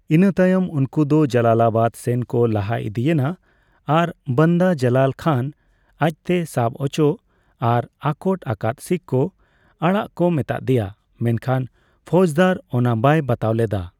ᱤᱱᱟᱹ ᱛᱟᱭᱚᱢ ᱩᱱᱠᱩ ᱫᱚ ᱡᱟᱞᱟᱞᱟᱵᱟᱫ ᱥᱮᱱ ᱠᱚ ᱞᱟᱦᱟ ᱤᱫᱤᱭᱮᱱᱟ ᱟᱨ ᱵᱟᱱᱫᱟ ᱡᱟᱞᱟᱞ ᱠᱷᱟᱱ ᱟᱡᱛᱮ ᱥᱟᱵᱽ ᱚᱪᱚᱜ ᱟᱨ ᱟᱴᱚᱠ ᱟᱠᱟᱫ ᱥᱤᱠᱷ ᱠᱚ ᱟᱲᱟᱜ ᱠᱚ ᱢᱮᱛᱟ ᱫᱮᱭᱟ, ᱢᱮᱱᱠᱷᱟᱱ ᱯᱷᱳᱣᱡᱫᱟᱨ ᱚᱱᱟ ᱵᱟᱭ ᱵᱟᱛᱟᱣ ᱞᱮᱫᱟ ᱾